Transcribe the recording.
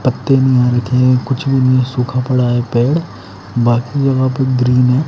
पत्ते भी यहां रखे हैं कुछ भी नहीं सूखा पड़ा है पेड़ बाकी जगह पे ग्रीन है।